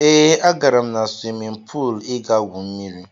Ee, agara m na swimin puul ịga gwu mmiri.